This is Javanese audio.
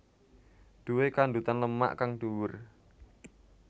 Duwe kandhutan lemak kang dhuwur